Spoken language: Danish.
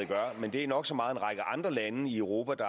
gør men det er nok så meget en række andre lande i europa